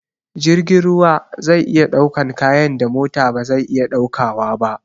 Jirgin ruwa zai iya ɗaukan kayan da mota ba zai iya ɗaukawa ba